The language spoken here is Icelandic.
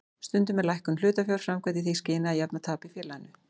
Stundum er lækkun hlutafjár framkvæmd í því skyni að jafna tap í félaginu.